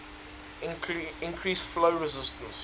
increase flow resistance